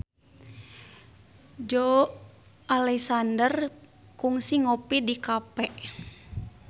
Joey Alexander kungsi ngopi di cafe